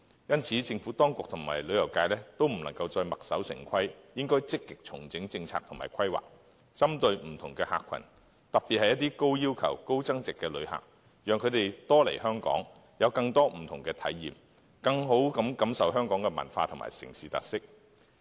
因此，政府當局和旅遊業界都不能再墨守成規，應積極重整政策及規劃，針對不同的客群，特別是一些高要求、高消費的旅客，讓他們多來香港，有更多不同的體驗，更好地感受香港的文化和城市特色。